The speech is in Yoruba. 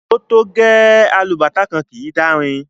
O to gẹ!, alubàtá kan kii dàrin.